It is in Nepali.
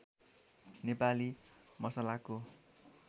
नेपाली मसलाको